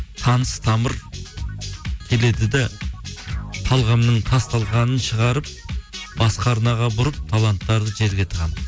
таныс тамыр келеді де талғамның тасталқанын шығарып басқа арнаға бұрып таланттарды жерге тығамыз